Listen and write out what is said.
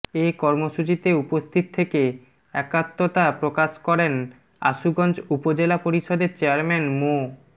এ কর্মসূচিতে উপস্থিত থেকে একাত্মতা প্রকাশ করেন আশুগঞ্জ উপজেলা পরিষদের চেয়ারম্যান মো